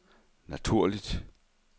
naturligt